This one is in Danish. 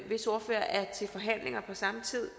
hvis ordfører er til forhandlinger på samme tid